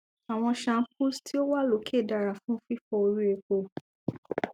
awọn shampoos ti o wa loke dara fun fifọ ori epo